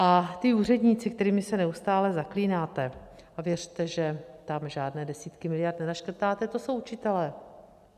A ti úředníci, kterými se neustále zaklínáte, a věřte, že tam žádné desítky miliard nenaškrtáte, to jsou učitelé.